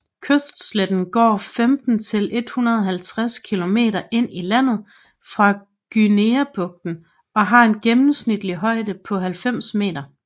Kystsletten går 15 til 150 kilometer ind i landet fra Guineabugten og har en gennemsnitlig højde på 90 meter